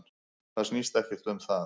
Það snýst ekkert um það.